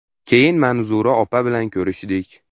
Keyin Manzura opa bilan ko‘rishdik.